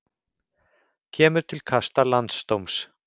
Kemur til kasta landsdóms